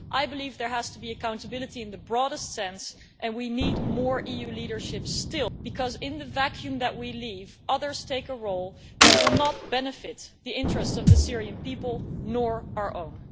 I believe there has to be accountability in the broadest sense and we still need more EU leadership because, in the vacuum that we leave, others take a role that will not benefit the interests of the Syrian people, nor our own.